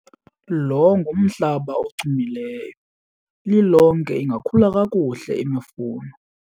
Lo ngumhlaba ochumileyo, lilonke ingakhula kakuhle imifuno.